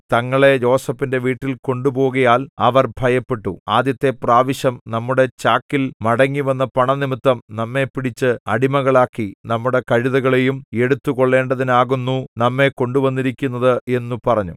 തങ്ങളെ യോസേഫിന്റെ വീട്ടിൽ കൊണ്ടുപോകുകയാൽ അവർ ഭയപ്പെട്ടു ആദ്യത്തെ പ്രാവശ്യം നമ്മുടെ ചാക്കിൽ മടങ്ങിവന്ന പണം നിമിത്തം നമ്മെ പിടിച്ച് അടിമകളാക്കി നമ്മുടെ കഴുതകളെയും എടുത്തുകൊള്ളേണ്ടതിനാകുന്നു നമ്മെ കൊണ്ടുവന്നിരിക്കുന്നത് എന്നു പറഞ്ഞു